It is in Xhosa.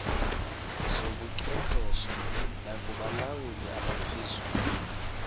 zobuchwepheshe nakubalawuli abaphezulu